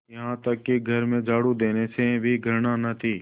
यहाँ तक कि घर में झाड़ू देने से भी घृणा न थी